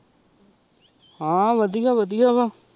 ਹਨ ਵਾਦਿਯ ਵਾਦਿਯ ਵਾਹ